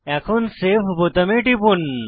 এখন সেভ বোতামে টিপুন